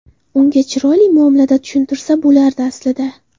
Unga chiroyli muomalada tushuntirsa bo‘lardi, aslida.